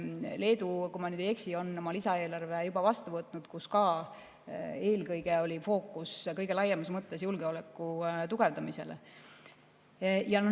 Leedu, kui ma ei eksi, on lisaeelarve juba vastu võtnud, ka nende fookus oli eelkõige kõige laiemas mõttes julgeoleku tugevdamisel.